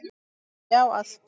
Já, allt!